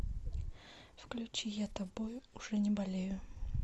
включи я тобою уже не болею